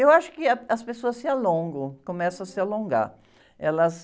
Eu acho que ah, as pessoas se alongam, começam a se alongar. Elas...